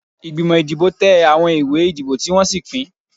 Ìgbìmọ̀ ìdìbò tẹ àwọn ìwé ìdìbò tí wọ́n sì pín.